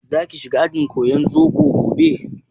Za ki shiga ajin koyar zobo gobe?